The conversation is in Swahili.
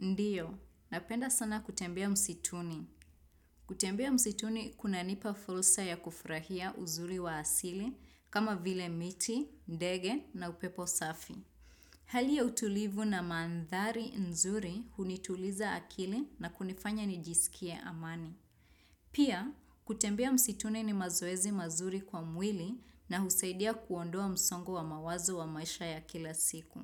Ndiyo, napenda sana kutembea msituni. Kutembea msituni kuna nipa fulsa ya kufurahia uzuri wa asili kama vile miti, ndege na upepo safi. Hali ya utulivu na maandhari nzuri hunituliza akili na kunifanya nijiskie amani. Pia, kutembea msituni ni mazoezi mazuri kwa mwili na husaidia kuondoa msongo wa mawazo wa maisha ya kila siku.